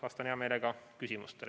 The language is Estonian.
Vastan hea meelega küsimustele.